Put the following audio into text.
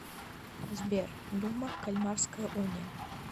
сбер дума кальмарская уния